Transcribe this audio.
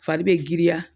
Fari bɛ giriya